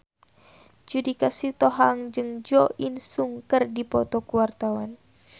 Judika Sitohang jeung Jo In Sung keur dipoto ku wartawan